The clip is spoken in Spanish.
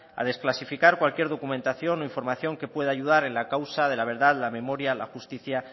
a desclasificar cualquier documentación o información que pueda ayudar en la causa de la verdad la memoria la justicia